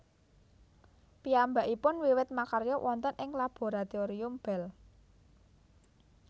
Piyambakipun wiwit makarya wonten ing Laboratorium Bell